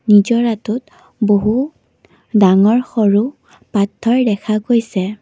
নিজৰাটোত বহু ডাঙৰ সৰু পথৰ দেখা গৈছে।